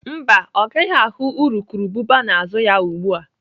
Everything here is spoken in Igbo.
Mba, ọ gaghị ahụ urukurubụba n'azụ ya ugbu a.